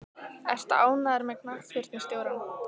Ertu ánægður með knattspyrnustjórann?